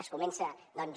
es comença doncs